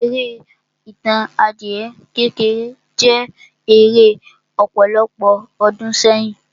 Eré Ìtàn adìyẹ kékeré jẹ́ eré ọ̀pọ̀lọpọ̀ ọdún sẹ́yìn.